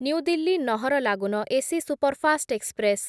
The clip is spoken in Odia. new Delhi Naharlagun AC superfast express